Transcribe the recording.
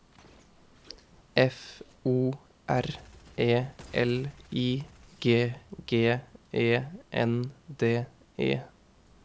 F O R E L I G G E N D E